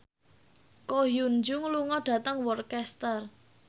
Ko Hyun Jung lunga dhateng Worcester